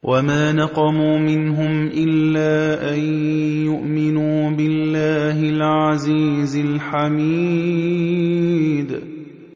وَمَا نَقَمُوا مِنْهُمْ إِلَّا أَن يُؤْمِنُوا بِاللَّهِ الْعَزِيزِ الْحَمِيدِ